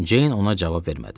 Ceyn ona cavab vermədi.